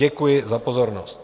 Děkuji za pozornost.